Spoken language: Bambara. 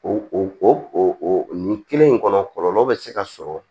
O o nin kelen in kɔnɔ kɔlɔlɔ bɛ se ka sɔrɔ